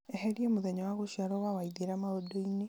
eheria mũthenya wa gũciarwo wa waithĩra maũndũ-inĩ